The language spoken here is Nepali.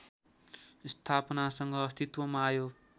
स्थापनासँग अस्तित्वमा आयो